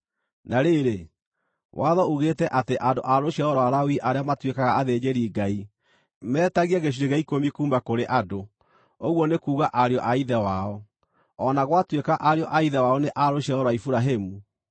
Na rĩrĩ, watho uugĩte atĩ andũ a rũciaro rwa Lawi arĩa matuĩkaga athĩnjĩri-Ngai metagie gĩcunjĩ gĩa ikũmi kuuma kũrĩ andũ, ũguo nĩ kuuga ariũ a ithe wao, o na gwatuĩka ariũ a ithe wao nĩ a rũciaro rwa Iburahĩmu.